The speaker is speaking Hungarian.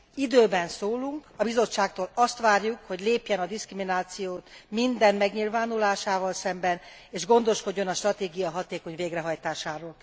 Időben szólunk, a Bizottságtól azt várjuk, hogy lépjen fel a diszkrimináció minden megnyilvánulásával szemben, és gondoskodjon a stratégia hatékony végrehajtásáról.